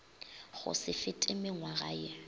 go se fete mengwaga ye